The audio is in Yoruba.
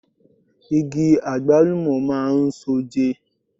Igi Àgbálùmọ̀ máa ń so oje.